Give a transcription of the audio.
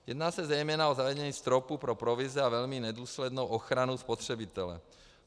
Jedná se zejména o zavedení stropu pro provize a velmi nedůslednou ochranu spotřebitele.